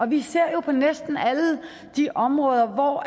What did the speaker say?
vi ser jo på næsten alle de områder hvor